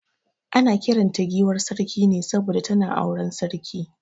Ana kiran ta giwar Sarki ne saboda tana auren sarki.